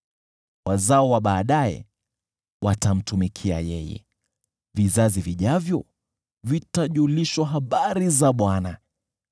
Wazao wa baadaye watamtumikia yeye; vizazi vijavyo vitajulishwa habari za Bwana.